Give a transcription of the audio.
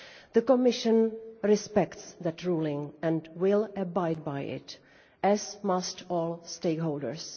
The Commission respects that ruling and will abide by it, as must all stakeholders.